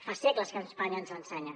fa segles que espanya ens l’ensenya